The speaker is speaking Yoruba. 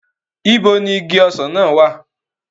Ibo ni igi ọsàn náà wà?